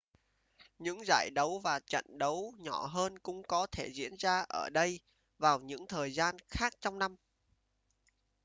những giải đấu và trận đấu nhỏ hơn cũng có thể diễn ra ở đây vào những thời gian khác trong năm